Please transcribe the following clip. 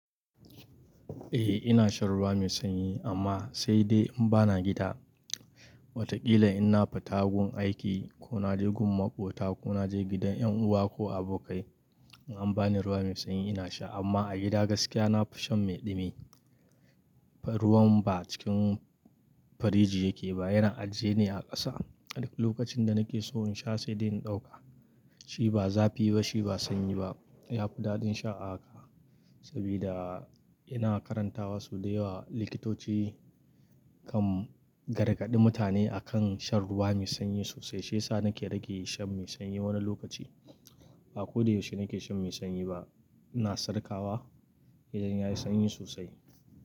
Eh ina shan ruwa mai sanyi amma sai dai in bana gida. Watakila in na fita gun aiki ko na je gun maƙota ko na je gidan ƴan uwa ko abokai in an bani ruwa mai sanyi ina sha amma a gida gaskiya na fi shan mai dumi. Ruwan ba cikin firiji yake ba yana ajiye ne a ƙasa. A duk lokacin da nake so in sha sai dai in ɗauka. Shi ba zafi ba shi ba sanyi ba. Ya fi daɗin sha haka sabida ina karantawa sau da yawa likitoci kan gargaɗi mutane akan shan ruwa mai sanyi sosai. Shiyasa nake rage shan mai sanyi wani lokaci. Ba ko da yaushe nake shan mai sanyi ba. Ina sarƙawa idan yayi sanyi sosai.